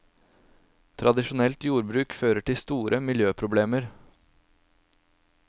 Tradisjonelt jordbruk fører til store miljøproblemer.